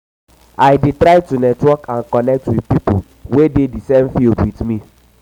i dey try to network and connect with um people wey dey di same field with me.